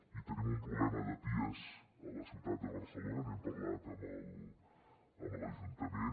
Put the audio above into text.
i tenim un problema de pies a la ciutat de barcelona n’hem parlat amb l’ajuntament